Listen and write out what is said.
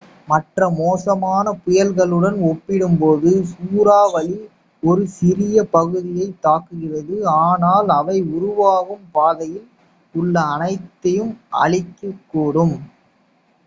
மற்ற மோசமான புயல்களுடன் ஒப்பிடும்போது சூறாவளி ஒரு சிறிய பகுதியைத் தாக்குகிறது ஆனால் அவை உருவாகும் பாதையில் உள்ள அனைத்தையும் அழிக்கக்கூடும்